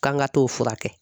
K'an ka t'o furakɛ